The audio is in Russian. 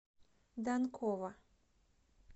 данкова